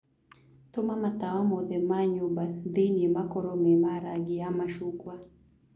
tuma matawa mothe ma nyũmba thĩĩ ini makorwo me ma rangĩ wa macungwa